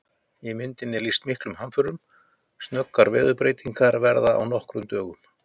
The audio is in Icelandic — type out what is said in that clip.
Í myndinni er lýst miklum hamförum, snöggar veðurfarsbreytingar verða á nokkrum dögum!